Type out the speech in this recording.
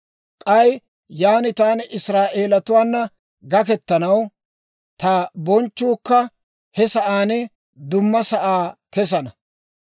K'ay yaan taani Israa'eelatuwaana gakettanaw, ta bonchchuukka he sa'aa duma sa'aa kessana.